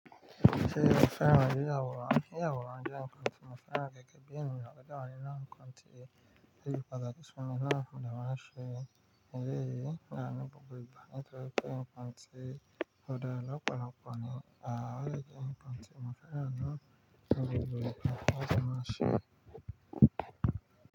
Ṣé ẹ fẹ́ máa rí àwòrán? Yiyà àwòrán jẹ́ nǹkan tí mo fẹ́ran gẹ́gẹ́ bí ẹ̀niyan àwọn onírọ̀rùn kan ti rí pẹ̀lú ọ̀dà kí sunmọ́ lára fún ìdámọ̀ràn ṣe. Eléyìí ni àánú gbogbo ìgbà nitóri nǹkan tí òdara lọ̀pọ̀lọpọ̀ ni, à o de je nǹkan tí mo fẹ́ran naa lati maa ṣe.